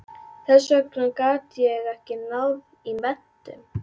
Þess vegna gat ég ekki náð í menntun.